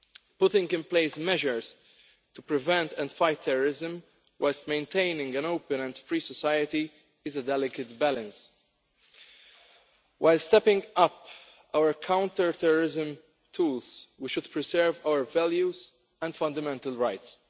Putting in place measures to prevent and fight terrorism whilst maintaining an open and free society is a delicate balance. While stepping up our counter-terrorism tools, we should preserve our values and fundamental rights.